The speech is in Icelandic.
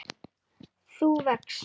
þú vex.